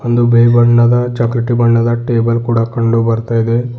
ಒಂದು ಬಿಳಿ ಬಣ್ಣದ ಚಾಕೊಲೆಟ್ ಬಣ್ಣದ ಟೇಬಲ್ ಕೂಡ ಕಂಡು ಬರ್ತಾ ಇದೆ.